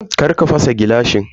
Karka fasa gilashin nan.